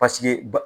Paseke ba